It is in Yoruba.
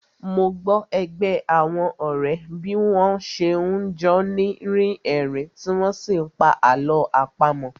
Mo gbọ́ ẹgbẹ́ àwọn ọ̀rẹ́ bí wọ́n n ṣe jọ́ ni rí ẹ̀rín tí wọ́n n sí pa àlọ́ àpamọ́